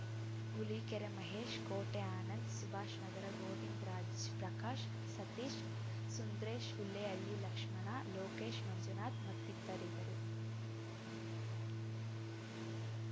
ಹುಲಿಕೆರೆ ಮಹೇಶ್‌ ಕೋಟೆ ಆನಂದ್‌ ಸುಭಾಷ್‌ ನಗರ ಗೋವಿಂದರಾಜ್‌ ಪ್ರಕಾಶ್‌ ಸತೀಶ್‌ ಸುಂದ್ರೇಶ್‌ ಹುಲ್ಲೇಹಳ್ಳಿ ಲಕ್ಷ್ಮಣ ಲೋಕೇಶ್‌ ಮಂಜುನಾಥ್‌ ಮತ್ತಿತರಿದ್ದರು